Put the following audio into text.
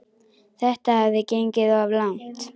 Þetta hafði gengið of langt.